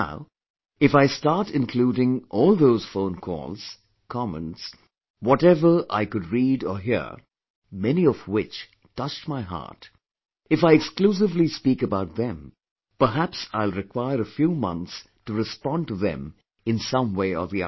Now, if I start including all those phone calls, comments, whatever I could read or hear, many of which touched my heart; if I exclusively speak about them, perhaps I'll require a few months to respond to them in some way or the other